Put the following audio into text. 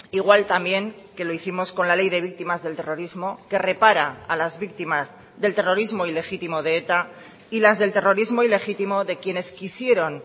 igual también que lo hicimos con la ley de víctimas del terrorismo que repara a las víctimas del terrorismo ilegítimo de eta y las del terrorismo ilegítimo de quienes quisieron